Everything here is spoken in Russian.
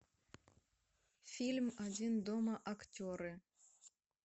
фильм один дома актеры